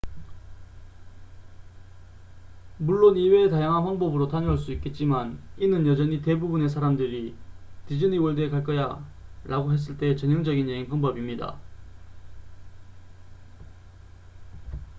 "물론 이외에 다양한 방법으로 다녀올 수 있겠지만 이는 여전히 대부분의 사람들이 "디즈니 월드에 갈 거야""라고 했을 때의 전형적인 여행 방법입니다.